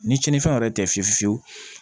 Ni tiɲɛnifɛnw yɛrɛ tɛ fiyewu